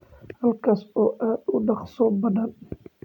Halkaas oo aad u dhaqso badan